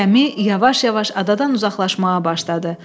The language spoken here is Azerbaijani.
Gəmi yavaş-yavaş adadan uzaqlaşmağa başladı.